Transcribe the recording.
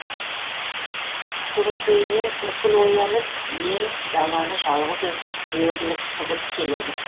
көмекейінен күркіл оянып ен даланы жалғыз өзі бөрліктіріп келеді